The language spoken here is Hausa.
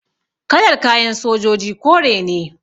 Kalar kayan sojoji kore ne